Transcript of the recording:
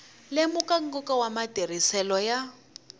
lemuka nkoka wa matirhiselo ya